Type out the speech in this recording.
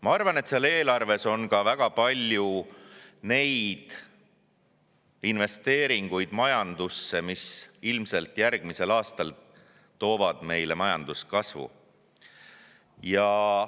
Ma arvan, et selles eelarves on ka väga palju investeeringuid majandusse, mis ilmselt järgmisel aastal toovad meile majanduskasvu.